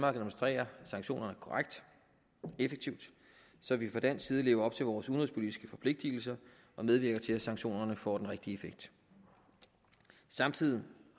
administrerer sanktionerne korrekt og effektivt så vi fra dansk side lever op til vores udenrigspolitiske forpligtelser og medvirker til at sanktionerne får den rigtige effekt samtidig